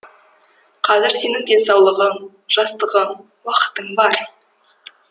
қазір сенің денсаулығың жастығың уақытың бар